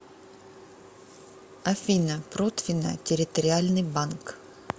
афина протвино территориальный банк